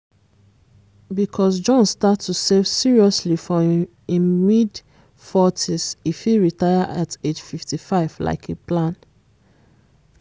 because john start to save seriously from im mid-40s e fit retire at age 55 like e plan.